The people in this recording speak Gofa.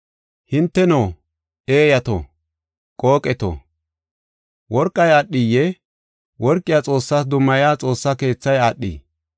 Hinteno, eeyato, qooqeto, worqay aadhiyee? Worqiya Xoossas dummaya xoossa keethay aadhii?